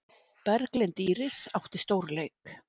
Berglind Íris átti stórleik